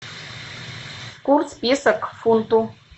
курс песо к фунту